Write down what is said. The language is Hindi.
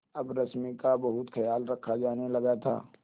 अब रश्मि का बहुत ख्याल रखा जाने लगा था